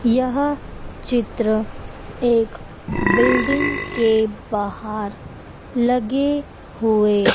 यह चित्र एक बिल्डिंग के बाहर लगे हुए--